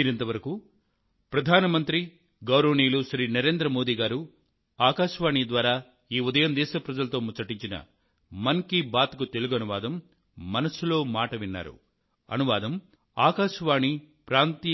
ఎప్పటి లాగే మీ మనసులోని ఆలోచనలకు నా మనసులోని ఆలోచనలకు మధ్య ఏర్పడిన విడదీయరాని బంధం నాకు